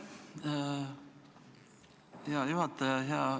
Aitäh, hea juhataja!